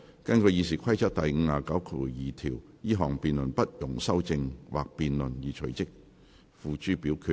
根據《議事規則》第592條，這項議案不容修正或辯論而須隨即付諸表決。